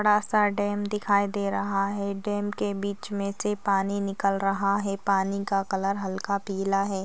बड़ा सा डैम दिखाई दे रहा है डैम के बिच मे से पानी निकल रहा है पानी का कलर हलका पालि है।